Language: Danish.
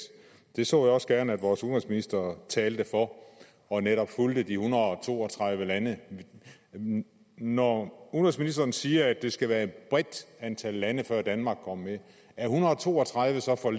det så jeg også gerne at vores udenrigsminister talte for og netop fulgte de en hundrede og to og tredive lande når udenrigsministeren siger at det skal være et bredt antal lande før danmark går med er en hundrede og to og tredive så for